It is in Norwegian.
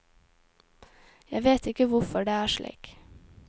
Jeg vet ikke hvorfor det er slik.